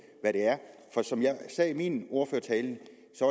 hvad det er for som jeg sagde i min ordførertale